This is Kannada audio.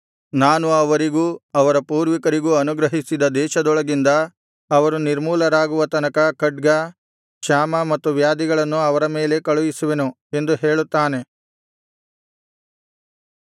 ನಾನು ಅವರಿಗೂ ಅವರ ಪೂರ್ವಿಕರಿಗೂ ಅನುಗ್ರಹಿಸಿದ ದೇಶದೊಳಗಿಂದ ಅವರು ನಿರ್ಮೂಲರಾಗುವ ತನಕ ಖಡ್ಗ ಕ್ಷಾಮ ಮತ್ತು ವ್ಯಾಧಿಗಳನ್ನು ಅವರ ಮೇಲೆ ಕಳುಹಿಸುವೆನು ಎಂದು ಹೇಳುತ್ತಾನೆ